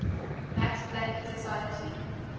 max planck society